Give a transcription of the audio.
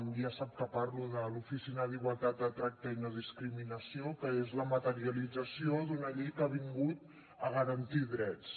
ja sap que parlo de l’oficina d’igualtat de tracte i no discriminació que és la materialització d’una llei que ha vingut a garantir drets